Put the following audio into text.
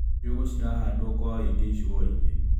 Njũgũ cirahandwo kwa wĩingĩ icuainĩ.